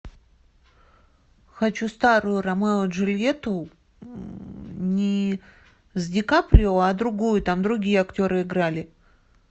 хочу старую ромео и джульетту не с ди каприо а другую там другие актеры играли